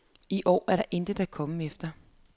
I år er der intet at komme efter.